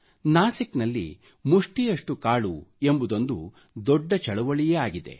ನಾಶಿಕ್ ನಲ್ಲಿ ಮುಷ್ಠಿಯಷ್ಟು ಕಾಳು ಎಂಬುದೊಂದು ದೊಡ್ಡ ಚಳುವಳಿಯೇ ಆಗಿದೆ